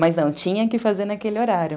Mas não, tinha que fazer naquele horário.